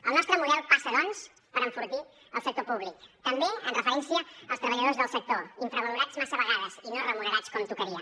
el nostre model passa doncs per enfortir el sector públic també amb referència als treballadors del sector infravalorats massa vegades i no remunerats com tocaria